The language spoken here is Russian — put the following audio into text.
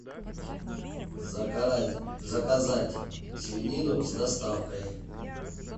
заказать свинину с доставкой